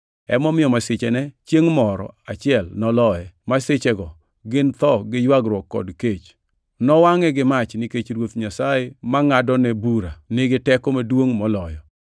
Emomiyo masichene chiengʼ moro achiel noloye; masichego gin tho gi ywagruok kod kech. Nowangʼe gi mach, nikech Ruoth Nyasaye mangʼadone bura, nigi teko maduongʼ moloyo!